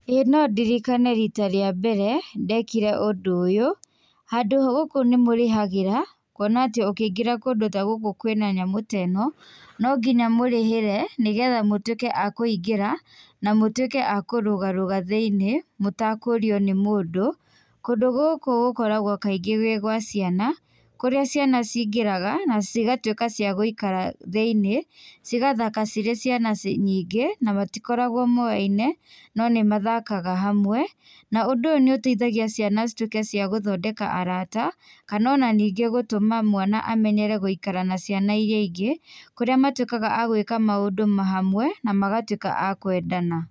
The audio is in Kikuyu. ĩĩ nondirikane rita rĩa mbere ndekire ũndũ ũyũ handũ gũkũ nĩmũrĩhagĩra kuona atĩ ũkĩingĩra kũndũ ta gũkũ kwĩna nyamũ teno nonginya mũrĩhĩre nĩgetha mũtwĩke a kũingĩra na mũtwĩke a kũrũgarũga thĩ-iniĩ mũtakũrio nĩ mũndũ. Kũndũ gũkũ gũkoragwo kaingĩ gwĩ gwa ciana, kũrĩa ciana cingĩraga na cigatwĩka cia gũikara thĩ-iniĩ cigathaka cirĩ ciana ci nyingĩ na matikoragwo moyaine no nĩmathakaga hamwe, na ũndũ ũyũ nĩũteithagia ciana citwĩke cia gũthondeka arata kana ona ningĩ gũtũma mwana amenyere gũikara na ciana iria ingĩ, kũrĩa matwĩkaga a gwĩka maũndũ ma hamwe na magatwĩka a kwendana.